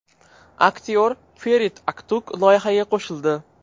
Aktyor Ferit Aktug loyihaga qo‘shildi.